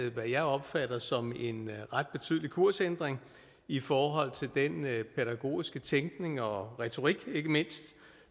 hvad jeg opfatter som en ret betydelig kursændring i forhold til den pædagogiske tænkning og retorik ikke mindst